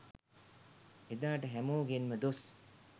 එදාට හැමෝගෙන්ම දොස්